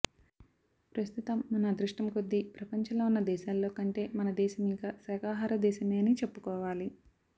ప్రస్తుతం మన అదృష్టం కొద్దీ ప్రపంచంలో ఉన్న దేశాల్లో కంటే మన దేశం ఇంకా శాకాహార దేశమే అని చెప్పుకోవాలి